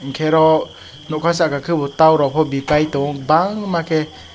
hingke oro nokha saka kebo torok po birtai tongo bangma ke.